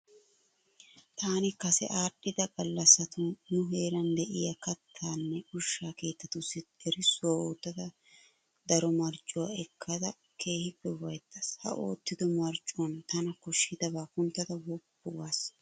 Taani kase aadhdhida gallassatun nu heeran de'iya kattanne ushsha keettatussi erissuwa oottada daro mariccuwa ekkada keehippe ufayittaas. Ha oottido mariccuwan tana koshshidabaa kunttada woppu gaas.